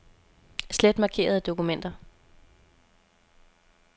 Slet markerede dokumenter.